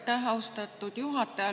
Aitäh, austatud juhataja!